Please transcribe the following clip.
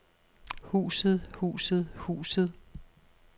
huset huset huset